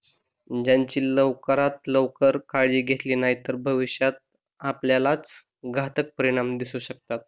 ज्यांची लवकरात लवकर काळजी घेतली नाही तर भविष्यात आपल्यालाच घातक परिणाम दिसु शकतात.